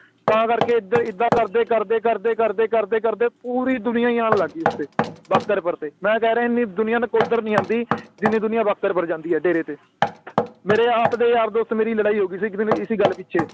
ਤਾ ਕਰਕੇ ਏਦ ਏਦਾਂ ਏਦਾਂ ਕਰਦੇ ਕਰਦੇ ਕਰਦੇ ਕਰਦੇ ਕਰਦੇ ਕਰਦੇ ਪੂਰੀ ਦੁਨੀਆਂ ਹੀ ਆਉਣ ਲੱਗੀ ਭਖ਼ਰਪੁਰ ਦੀ ਮੈਂ ਕਿਹਾ ਇੰਨੀ ਦੁਨੀਆਂ ਨਕੋਦਰ ਨੀ ਆਂਦੀ ਜਿੰਨੀ ਦੁਨੀਆਂ ਭਖ਼ਰਪੁਰ ਜਾਂਦੀ ਆ ਤੇ ਮੇਰੇ ਆਪ ਦੇ ਯਾਰ ਦੋਸਤ ਮੇਰੀ ਲੜਾਈ ਹੋਗੀ ਸੀ ਇਸੀ ਗੱਲ ਪਿੱਛੇ